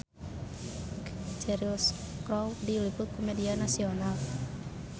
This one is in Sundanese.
Cheryl Crow diliput ku media nasional